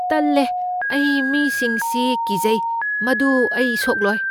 ꯇꯜꯂꯦ! ꯑꯩ ꯃꯤꯁꯤꯡ ꯁꯤ ꯀꯤꯖꯩ꯫ ꯃꯗꯨ ꯑꯩ ꯁꯣꯛꯂꯣꯏ꯫